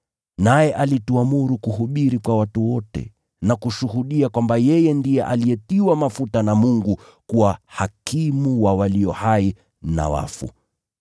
Naye alituamuru kuhubiri kwa watu wote na kushuhudia kwamba ndiye alitiwa mafuta na Mungu kuwa hakimu wa walio hai na wafu.